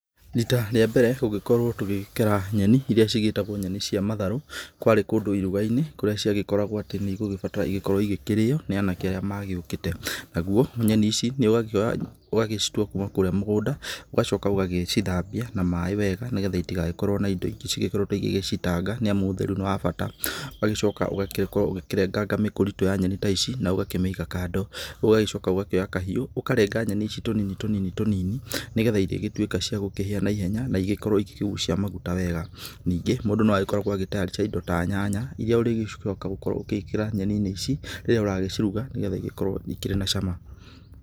Rita rĩa mbere gũgĩkorwo tũgĩkera nyeni, iria cigĩĩtagwo nyeni coa matharũ, kwarĩ kũndũ iruga-inĩ, kũrĩa ciagĩkoragwo atĩ nĩ igũgĩbatara igĩkorwo ikĩrĩo nĩ anake arĩa magĩũkĩte. Naguo nyeni ici nĩ ũgakĩoya ũgagĩcitua kuuma kũrĩa mũgũnda, ũgacoka ũgagĩcithambia na maaĩ wega, nĩgetha itigagĩkorwo na indo ingĩ cigĩkoretwo igĩgĩcitanga, nĩ amu ũtheru nĩ wa bata. Ũgagĩcoka ũgagĩkorwo ũgĩkĩrenganga mĩkũritũ ya nyeni ta ici na ũgakĩmĩiga kando, ũgagĩcoka ũgakĩoya kahiũ ũkarenga nyeni ici tũnini tũnini, nĩgetha igĩgĩtuĩka cia kũhĩa na ihenya na igĩkorwo igĩkĩgucia maguta wega. Ningĩ mũndũ no agĩkoragwo agĩ tayarisha indo ta nyanya, irĩa ũrĩgĩcoka gũkorwo ũgĩĩkĩra nyeni-inĩ ici rĩrĩa ũragĩciruga, nĩgetha igĩkorwo ikĩrĩ na cama.